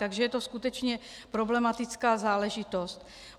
Takže je to skutečně problematická záležitost.